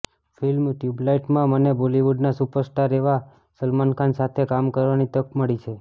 film ટયૂબલાઇટમાં મને બોલિવૂડના સુપરસ્ટાર એવા સલમાન ખાન સાથે કામ કરવાની તક મળી છે